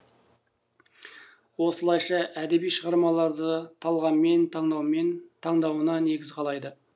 осылайша әдеби шығармаларды талғаммен таңдауына негіз қалайды